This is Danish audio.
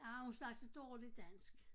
Ah hun snakkede dårlig dansk